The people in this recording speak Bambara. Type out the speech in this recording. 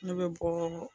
Ne bɛ bɔɔ